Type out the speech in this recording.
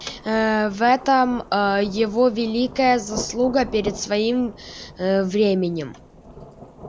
ээ в этом аа его великая заслуга перед своим ээ временем